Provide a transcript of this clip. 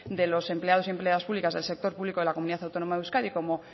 de los empleados y empleadas públicas del sector público de la comunidad autónoma de euskadi como